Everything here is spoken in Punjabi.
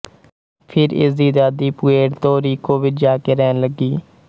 ਫ਼ਿਰ ਇਸ ਦੀ ਦਾਦੀ ਪੁਏਰਤੋ ਰੀਕੋ ਵਿੱਚ ਜਾ ਕੇ ਰਹਿਣ ਲੱਗੀ